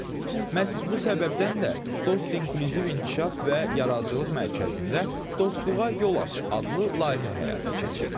Məhz bu səbəbdən də Dost İnklüziv İnkişaf və Yaradıcılıq Mərkəzində Dostluğa Yol Aç adlı layihə həyata keçirilib.